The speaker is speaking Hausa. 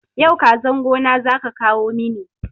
Yau kazan gona zaka kawo mini